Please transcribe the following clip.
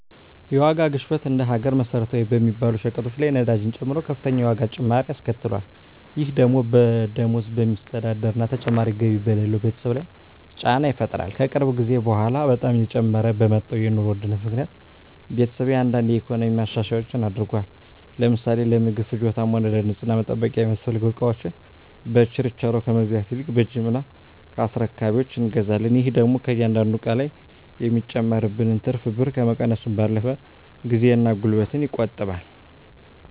የዋጋ ግሽበት እንደ ሀገር መሰረታዊ በሚባሉ ሸቀጦች ላይ ነዳጅን ጨምሮ ከፍተኛ የዋጋ ጭማሪ አስከትሏል። ይህ ደግሞ በደሞዝ በሚስተዳደር እና ተጨማሪ ገቢ በሌለው ቤተሰብ ላይ ጫና ይፈጥራል። ከቅርብ ጊዜ በኃላ በጣም እየጨመረ በመጣው የኑሮ ውድነት ምክኒያት ቤተሰቤ አንዳንድ የኢኮኖሚ ማሻሻያዎች አድርጓል። ለምሳሌ ለምግብ ፍጆታም ሆነ ለንፅህና መጠበቂያ የሚያስፈልጉ እቃወችን በችርቻሮ ከመግዛት ይልቅ በጅምላ ከአስረካቢወች እንገዛለን። ይህ ደግሞ ከእያንዳንዱ እቃ ላይ የሚጨመርብንን ትርፍ ብር ከመቀነሱም ባለፈ ጊዜን እና ጉልበትን ይቆጥባል።